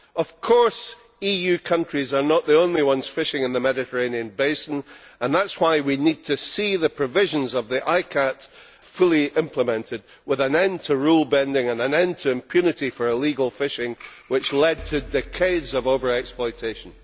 Of course, EU countries are not the only ones fishing in the Mediterranean basin, and that is why we need to see the provisions of the ICCAT fully implemented, with an end to rule bending and an end to the impunity for illegal fishing that has led to decades of over exploitation.